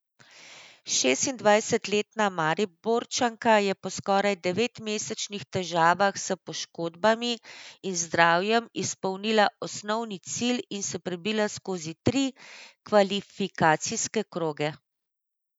Šestindvajsetletna Mariborčanka je po skoraj devetmesečnih težavah s poškodbami in zdravjem izpolnila osnovni cilj in se prebila skozi tri kvalifikacijske kroge.